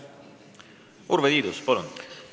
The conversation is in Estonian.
Urve Tiidus, palun!